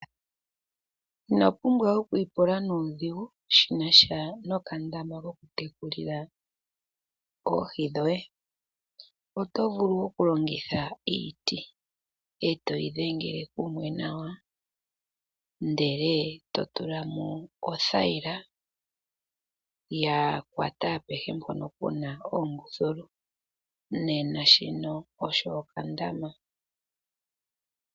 Ino pumbwa okwiipula nuudhigu shi na sha nokandama kokutekulila oohi dhoye, oshoka oto vulu okulongitha iiti, we yi dhingela kumwe nawa, ndele to tula ko othayila, yakwata nawa naampoka iiti inayi tsakanena nawa. Nena owa eta po okandama koye.